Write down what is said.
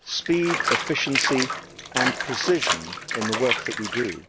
speed, efficiency and precision in the work that we do.